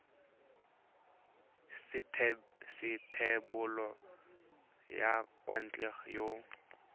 sa thebolo ya thekontle ya